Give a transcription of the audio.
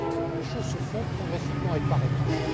Les choses se font progressivement et par étape.